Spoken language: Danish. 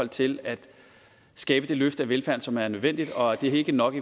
til at skabe det løft af velfærden som er nødvendigt og det er ikke nok